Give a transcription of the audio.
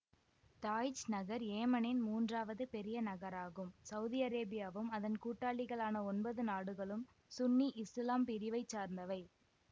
தாய்ச் நகர் ஏமனின் மூன்றாவது பெரிய நகராகும் சௌதி அரேபியாவும் அதன் கூட்டாளிகளான ஒன்பது நாடுகளும் சுன்னி இசுலாம் பிரிவை சார்ந்தவை